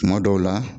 Tuma dɔw la